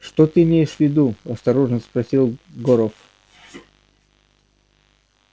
что ты имеешь в виду осторожно спросил горов